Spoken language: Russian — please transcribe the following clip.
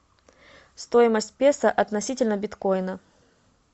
стоимость песо относительно биткоина